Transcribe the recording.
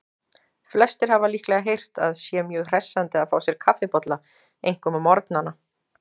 Flestir hafa líklega heyrt að sé mjög hressandi að fá sér kaffibolla, einkum á morgnana.